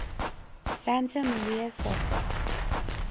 santa maria sopra